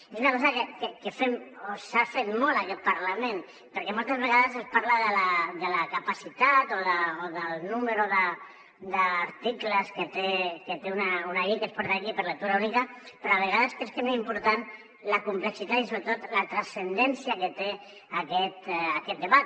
és una cosa que fem o s’ha fet molt en aquest parlament perquè moltes vegades es parla de la capacitat o del número d’articles que té una llei que es porta aquí per lectura única però a vegades crec que és més important la complexitat i sobretot la transcendència que té aquest debat